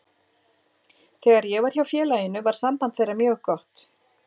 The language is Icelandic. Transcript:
Þegar ég var hjá félaginu var samband þeirra mjög gott.